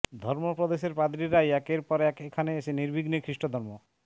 ধর্মপ্রদেশের পাদ্রিরাই একের পর এক এখানে এসে নির্বিঘ্নে খ্রিষ্টধর্ম